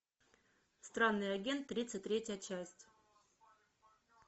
странный агент тридцать третья часть